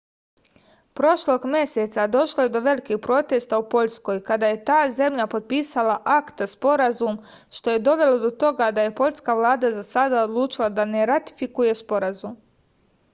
prošlog meseca došlo je do velikih protesta u poljskoj kada je ta zemlja potpisala akta sporazum što je dovelo do toga da je poljska vlada za sada odlučila da ne ratifikuje sporazum